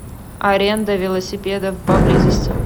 аренда велосипедов поблизости